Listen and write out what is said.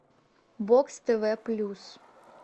бокс тв плюс